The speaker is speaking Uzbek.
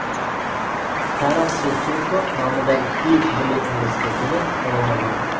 Taras Shevchenko nomidagi Kiyev milliy universitetini tamomlagan.